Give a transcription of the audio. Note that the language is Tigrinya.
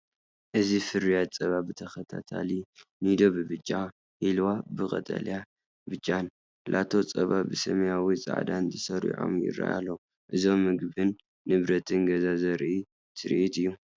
እዚ ፍርያት ጸባ ብተኸታታሊ፡ ኒዶ ብብጫ፡ ሂልዋ ብቀጠልያን ብጫን፡ ላቶ ጸባ ብሰማያውን ጻዕዳን ተሰሪዖም ይረኣይ ኣለው። እዚ ምግብን ንብረት ገዛን ዘርኢ ትርኢት እዩ።